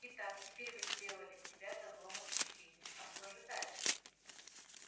и так теперь вы сделали себя козлом отпущения а что же дальше